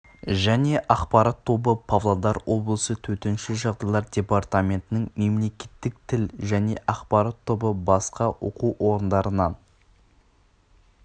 және ақпарат тобы павлодар облысы төтенше жағдайлар департаментінің мемлекеттік тіл және ақпарат тобы басқа оқу орындарынан